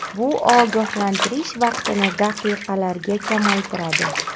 Bu ogohlantirish vaqtini daqiqalarga kamaytiradi.